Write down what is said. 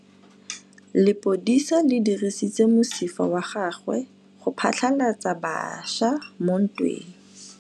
Lepodisa le dirisitse mosifa wa gagwe go phatlalatsa batšha mo ntweng.